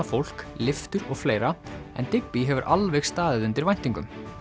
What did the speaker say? fólk lyftur og fleira en Digby hefur alveg staðið undir væntingum